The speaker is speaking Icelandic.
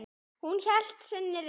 Hún hélt sinni reisn.